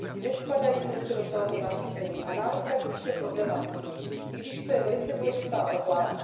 Nespadají prostě do tohoto nařízení a návrh spíše problematizují, i když to je velice důležitá oblast.